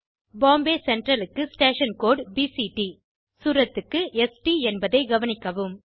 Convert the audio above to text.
Bombay central க்கு station code BCT Suratக்கு STஎன்பதைக் கவனிக்கவும்